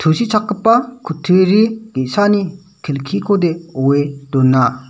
tusichakgipa kutturi ge·sani kelkikode oe dona.